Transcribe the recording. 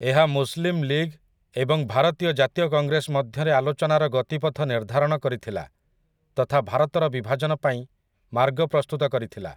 ଏହା Muslim League ଏବଂ ଭାରତୀୟ ଜାତୀୟ କଂଗ୍ରେସ ମଧ୍ୟରେ ଆଲୋଚନାର ଗତିପଥ ନିର୍ଦ୍ଧାରଣ କରିଥିଲା, ତଥା ଭାରତର ବିଭାଜନ ପାଇଁ ମାର୍ଗ ପ୍ରସ୍ତୁତ କରିଥିଲା ।